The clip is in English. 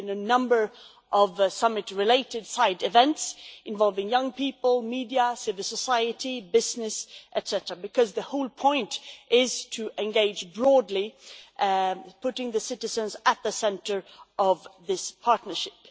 There have been a number of related side events involving young people, media, civil society, business, etcetera, because the whole point is to engage broadly, putting citizens at the centre of this partnership.